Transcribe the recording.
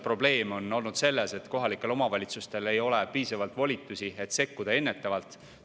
Probleem on olnud selles, et kohalikel omavalitsustel ei ole piisavalt volitusi, et ennetavalt sekkuda.